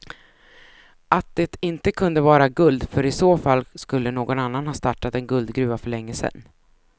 Att det inte kunde vara guld för i så fall skulle någon annan ha startat en guldgruva för länge sen.